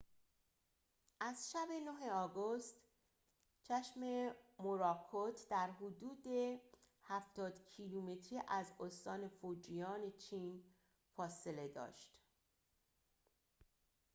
از شب ۹ آگوست چشم موراکوت در حدود هفتاد کیلومتر از استان فوجیان چین فاصله داشت